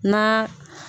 Na